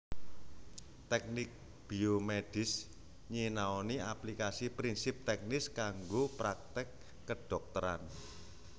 Teknik biomedis nyinaoni aplikasi prinsip teknis kanggo praktèk kedhokteran